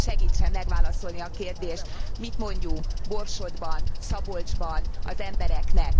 Kérem, segítsen megválaszolni a kérdést mit mondjunk Borsodban, Szabolcsban az embereknek?